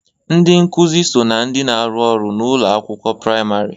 Ndị nkuzi so na ndị na-arụ ọrụ n'ụlọ akwụkwọ praịmarị.